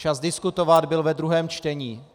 Čas diskutovat byl ve druhém čtení.